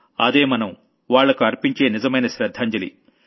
అదే మనం వాళ్లకు అర్పించే నిజమైన శ్రద్ధాంజలి